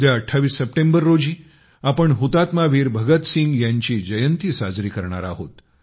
उद्या 28 सप्टेंबर रोजी आपण शहीद वीर भगतसिंग यांची जयंती साजरी करणार आहोत